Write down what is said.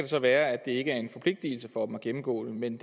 så være at det ikke er en forpligtelse for dem at gennemgå den men